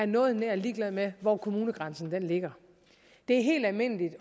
noget nær ligeglade med hvor kommunegrænsen ligger det er helt almindeligt